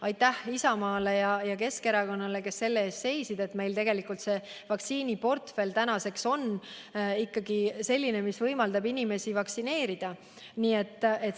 Aitäh Isamaale ja Keskerakonnale, tänu kellele meie vaktsiiniportfell on selline, mis võimaldab inimesi vaktsineerida.